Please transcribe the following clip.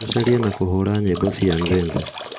gũcaria na kũhũũra nyimbo cia nzenze